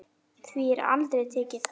Því er aldrei tekið þannig.